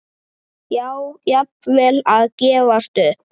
Já, jafnvel að gefast upp.